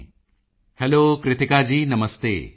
Modi ji hello Krittika ji ਨਮਸਤੇ